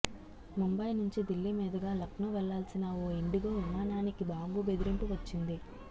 ముంబయి నుంచి దిల్లీ మీదుగా లక్నో వెళ్లాల్సిన ఓ ఇండిగో విమానానికి బాంబు బెదిరింపు వచ్చింది